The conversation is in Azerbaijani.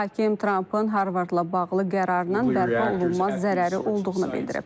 Hakim Trampın Harvardla bağlı qərarının bərpa olunmaz zərəri olduğunu bildirib.